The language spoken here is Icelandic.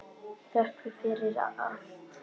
Þökk fyrir allt.